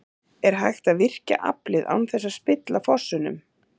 En er hægt að virkja aflið án þess að spilla fossunum?